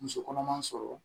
Muso kɔnɔma sɔrɔ